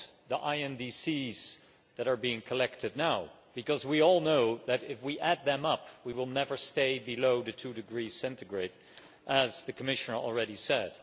the INDCs that are being collected now because we all know that, if we add them up, we will never stay below the 2 degrees centigrade, as the Commissioner has already said.